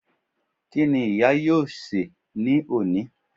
Kíni ìyá yóò sè ní òní